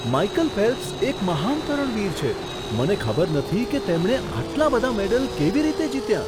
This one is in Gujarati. માઈકલ ફેલ્પ્સ એક મહાન તરણવીર છે. મને ખબર નથી કે તેમણે આટલા બધા મેડલ કેવી રીતે જીત્યા!